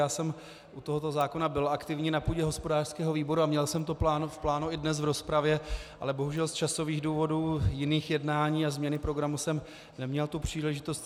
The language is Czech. Já jsem u tohoto zákona byl aktivní na půdě hospodářského výboru a měl jsem to v plánu i dnes v rozpravě, ale bohužel z časových důvodů jiných jednání a změny programu jsem neměl tu příležitost.